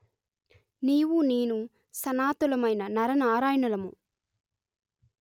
నీవు నేను సనాతులమైన నరనారాయణులము